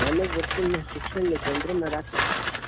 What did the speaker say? માનવ વર્તન ના શિક્ષણ ને કેન્દ્ર માં રાખી